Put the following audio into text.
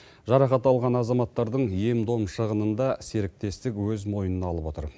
жарақат алған азаматтардың ем дом шығынын да серіктестік өз мойнына алып отыр